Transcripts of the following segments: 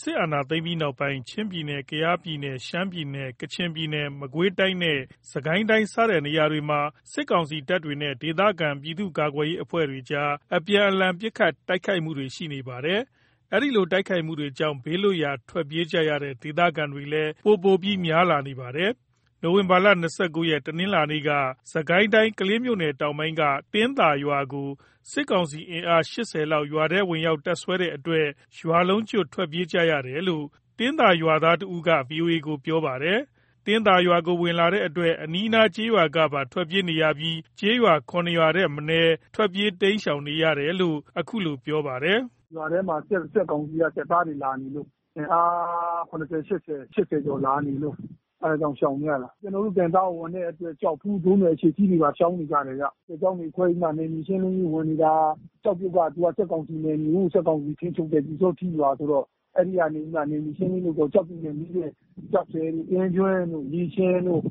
စ်အာဏာသိမ်းပြီးနောက်ပိုင်း ချင်းပြည်နယ်၊ ကယားပြည်နယ်၊ ရှမ်းပြည်နယ်၊ ကချင်ပြည်နယ်၊ မကွေးတိုင်းနဲ့ စစ်ကိုင်းတိုင်းစတဲ့ နေရာတွေမှာ စစ်ကောင်စီတပ်တွေနဲ့ ဒေသခံ ပြည်သူ့ကာကွယ်ရေး အဖွဲ့တွေကြား အပြန်အလှန် ပစ်ခတ် တိုက်ခိုက်မှုတွေ ရှိနေပါတယ်။ အဲဒီတိုက်ပွဲတွေကြောင့် ဘေးလွတ်ရာ ထွက်ပြေးကြရတဲ့ ဒေသခံတွေလည်း ပိုပိုပြီးများလာနေပါတယ်။ နိုဝင်ဘာ ၂၉ ရက် တနင်္လာနေ့ကပဲ စစ်ကိုင်းတိုင်း ကလေးမြို့နယ်တောင်းပိုင်းက တင်းသာကျေးရွာကို စစ်ကောင်စီ အင်အား ၈၀ လောက် ရွာထဲဝင်ရောက် တပ်စွဲတဲ့အတွက် ရွာလုံးကျွတ် ထွက်ပြေးနေကြရတယ်လို့ တင်သားရွာခံတစ်ဦးက VOA ကို ပြောပါတယ်။ တင်းသာရွာကို ဝင်လာတဲ့အတွက် အနီးအနား ကျေးရွာကပါ ထွက်ပြေးနေရပြီး ကျေးရွာ ၇ ရွာထက်မနည်း ထွက်ပြေးတိမ်ရှောင်နေတာလို့ အခုလို ပြောပါတယ်။ “ရွာထဲမှာ စစ်ကောင်စီရဲ့ စစ်သားတွေလာနေလို့ အင်အား ၇၀ ၊ ၈၀ ကျော်လာနေလို့ အဲ့ဒါကြောင်းရှောင်နေရတာ၊ ကျနော်တို့ တင်သားကို ဝင်တဲ့အတွက် ကျောက်ဖူး၊ ဒိုးနွယ်၊ အရှေ့စည်းတွေပါ ရှောင်နေကြတယ်ဗျ၊ စစ်ကြောင်းတွေခွဲပြီးမှ နယ်မြေရှင်းလင်းရေးဝင်နေတာ၊ ကျောက်ပြုတ်က စစ်ကောင်စီနယ်မြေ၊ စစ်ကောင်စီထိန်းချုပ်တဲ့ ပျူးစောထီးရွာဆိုတော့ အဲ့ဒီကနေပြီးမှ နယ်မြေရှင်းလင်းရေးလုပ်တော့ ကျောက်ပြုတ်နဲ့ နီးတဲ့ ကျောက်ဆယ်တို့ အင်းကျွန်းတို့ ရေရှင်တို့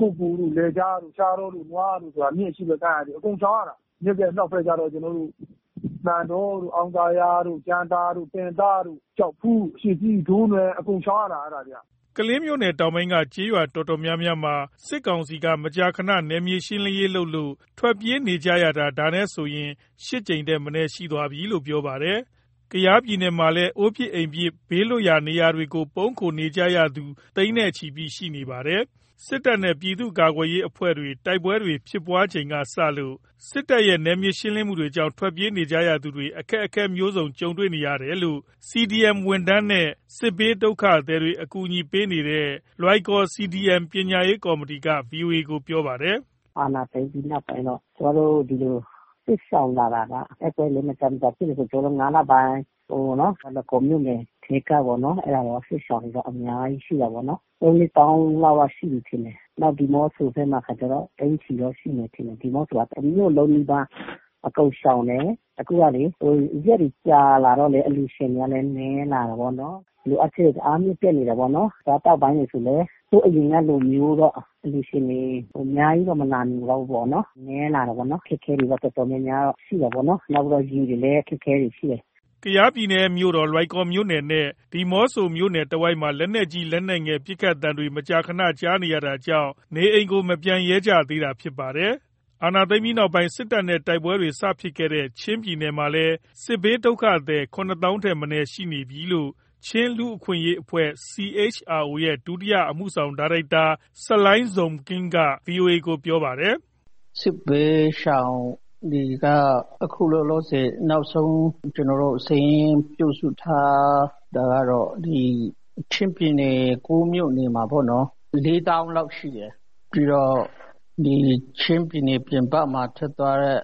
ကုက္ကိုလ်တို့ လယ်ခြားတို့ ရှားတောတို့ နွားတို့၊ မြစ်ရဲ့အရှေ့ဖက်ကမ်းက အကုန်ရှောင်ရတာ မြစ်ရဲ့အနောက်ဖက်ကျတော့ ကျနော်တို့ မှန်တောတို့ အောင်သာယာတို့ ကြံသာတို့ တင်သားတို့ ကျောက်ဖူး၊ အရှေ့စည်း၊ ဒိုးနွယ် အကုန်ရှောင်ရတာ အဲ့ဒါတွေက။” ကလေးမြို့နယ်တောင်းပိုင်းက ကျေးရွာတော်တော်များမှာ စစ်ကောင်စီက မကြာခဏ နယ်မြေရှင်းလင်းရေးလုပ်လို့ ထွက်ပြေးနေရတာ ဒါနဲ့ဆိုရင် ၈ ကြိမ်ထက်မနည်း ရှိသွားပြီလို့ ပြောပါတယ်။ ကယားပြည်နယ်မှာလည်း အိုးအိမ်ပြစ် ဘေးလွတ်ရာရောတွေမှာ ပုန်းခိုနေကြရသူ သိန်းနဲ့ချီရှိနေပါပြီ။ စစ်တပ်နဲ့ ပြည်သူ့ကာကွယ်ရေးအဖွဲ့တွေ တိုက်ပွဲတွေဖြစ်ပွားချိန်ထဲကစလို့ နောက်ပိုင်း စစ်တပ်ရဲ့ နယ်မြေရှင်းလင်းမှုတွေကြောင့် ထွက်ပြေးနေကြရသူတွေ အခက်အခဲမျိုးစုံ ကြုံနေကြတယ်လို့ CDM ဝန်ထမ်းနဲ့ စစ်ဘေးဒုက္ခသည်တွေ အကူအညီပေးနေတဲ့ လွိုင်ကော် CDM ပညာရေးကော်မတီက VOA ကို ပြောပါတယ်။ “အာဏာသိမ်းပြီးနောက်ပိုင်းတော့ ကျမတို့ ဒီလို စစ်ရှောင်လာတာက တိုက်ပွဲလည်း မကြာမကြာဖြစ်နေတော့ ၅ လပိုင်းအတွင်းပေါ့နော်၊ လွိုင်ကော်မြို့နယ်ထဲကပေ့ါနော်၊ အဲ့ဒါစစ်ရှောင်နေတာ အများကြီးရှိတာပေ့ါနော်၊ ၃၊ ၄ သောင်းလောက်တော့ ရှိပြီးထင်တယ်၊ နောက်ဒီးမော့ဆိုဘက်မှာကျတော့ သိန်းချီရှိမယ်ထင်တယ်၊ ဒီးမော့ဆိုက တစ်မြို့လုံးနီးပါး အကုန်ရှောင်တယ်၊ အခုကလေး ရက်တွေ ကြာလာတော့လေး အလှူရှင်ကလည်း နည်းလာတာပေါ့နော်၊ လိုအပ်ချက်တွေ တအားမြင့်တက်နေတာပေ့ါနော်၊ အစားအသောက်အပိုင်းဆိုလည်း ဟိုအရင်ကလိုမျိုးတော့ အလှူရှင်တွေ အများကြီးတော့ မလာနိုင်တော့ဘူးပေ့ါနော်၊ နည်းလာတာပေ့ါနော်၊ အခက်အခဲတွေတော့ တော်တော်များများရှိတာပေ့ါနော်၊ နောက်ပြီး ရေတွေလည်း အခက်အခဲတွေ ရှိတယ်။” လွိုင်ကော်မြို့နယ်၊ ဒီးမော့ဆိုမြို့နယ် တစ်ဝိုက်မှာ လက်နက်ကြီး လက်နက်ငယ် ပစ်ခတ်သံတွေ မကြာခဏ ကြားနေရတာကြောင့် နေအိမ်တွေကို မပြန်ရဲကြသေးတာဖြစ်ပါတယ်။ အာဏာသိမ်းပြီးနောက်ပိုင်း စစ်တပ်နဲ့ တိုက်ပွဲတွေ စဖြစ်ခဲ့တဲ့ ချင်းပြည်နယ်မှာလည်း စစ်ဘေးဒုက္ခသည် ၇သောင်းထက်မနည်း ရှိနေပြီလို့ ချင်းလူ့အခွင့်အရေးအဖွဲ့ CHRO ရဲ့ ဒုတိယ အမှုဆောင် ဒါရိုက်တာ Salai Zaukling က VOA ကို ပြောပါတယ်။ “စစ်ဘေးရှောင်တွေက အခုလောလေဆယ် နောက်ဆုံးကျနော်တို့ စာရင်းပြုစုထားတာကတော့ ဒီချင်းပြည်နယ် ၉ မြို့နယ်မှာပေါ့နော်၊ လေးသောင်းလောက်ရှိတယ်၊ ပြီးတော့ ဒီချင်းပြည်နယ် ပြင်ပမှာ ထွက်သွားတဲ့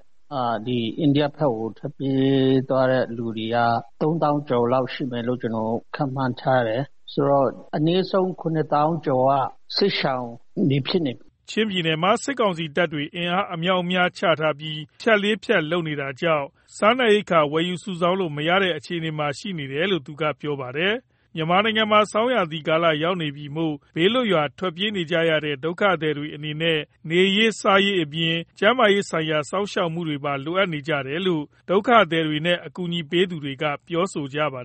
ဒီအိန္ဒိယဖက်ကို ထွက်ပြေးသွားတဲ့ လူတွေက သုံးသောင်းကျော်လောက်ရှိမယ်လို့ ကျနော်တို့ ခန့်မှန်းထားတယ်၊ ဆိုတော့ အနည်းဆုံး ခုနှစ်သောင်းကျော်က စစ်ရှောင်တွေ ဖြစ်နေပြီ။” ချင်းပြည်နယ်မှာ စစ်ကောင်စီတပ်တွေ အင်အားအမြောက်အများဖြန့်ချထားပြီး ဖြတ်လေးဖြတ်လုပ် နေတာကြောင့် စားနပ်ရိက္ခာ ဝယ်စုဆောင်းလို့ မရတဲ့ အခြေအနေမှာ ရှိနေတယ်လို့ သူကပြောပါတယ်။ မြန်မာနိုင်ငံမှာ ဆောင်းရာသီကာလရောက်နေပြီမို့ ဘေးလွတ်ရာ ထွက်ပြေးနေကြရတဲ့ ဒုက္ခသည်တွေ အနေနဲ့ နေရေး စားရေးအပြင် ကျန်းမာရေးဆိုင်ရာ စောင့်ရှောက်မှုတွေပါ လိုအပ်နေကြတယ်လို့ ဒုက္ခသည်နဲ့ အကူအညီပေးသူတွေက ပြောကြပါတယ်